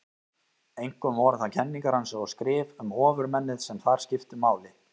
Einkum voru það kenningar hans og skrif um ofurmennið sem þar skiptu máli.